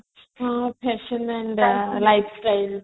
fashion and life style